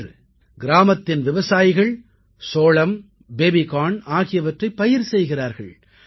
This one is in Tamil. இன்று கிராமத்தின் விவசாயிகள் சோளம் பேபிகார்ன் ஆகியவற்றைப் பயிர் செய்கிறார்கள்